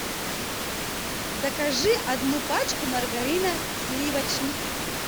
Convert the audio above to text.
закажи одну пачку маргарина сливочник